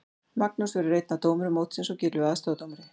Magnús verður einn af dómurum mótsins og Gylfi aðstoðardómari.